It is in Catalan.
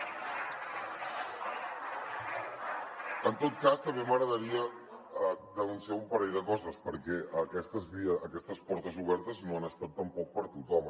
en tot cas també m’agradaria denunciar un parell de coses perquè aquestes portes obertes no han estat tampoc per a tothom